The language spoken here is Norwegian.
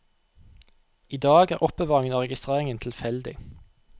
I dag er er oppbevaringen og registreringen tilfeldig.